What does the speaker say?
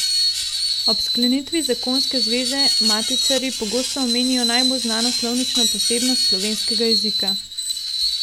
Ob sklenitvi zakonske zveze matičarji pogosto omenijo najbolj znano slovnično posebnost slovenskega jezika.